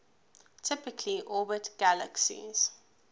typically orbit galaxies